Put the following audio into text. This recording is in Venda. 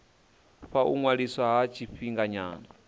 fha u ṅwaliswa ha tshifhinganyana